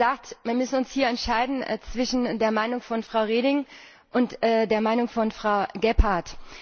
Sie haben gesagt, wir müssen uns hier entscheiden zwischen der Meinung von Frau Reding und der Meinung von Frau Gebhardt.